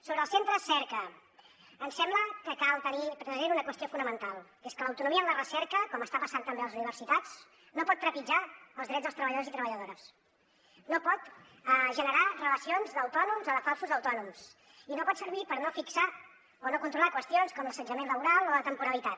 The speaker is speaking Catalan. sobre els centres cerca ens sembla que cal tenir present una qüestió fonamental que és que l’autonomia en la recerca com està passant també a les universitats no pot trepitjar els drets dels treballadors i treballadores no pot generar relacions d’autònoms o de falsos autònoms i no pot servir per no fixar o no controlar qüestions com l’assetjament laboral o la temporalitat